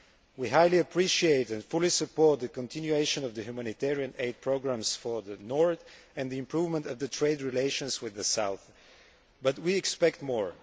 We highly appreciate and fully support the continuation of the humanitarian aid programmes for the north and the improvement in the trade relations with the south, but we expect more.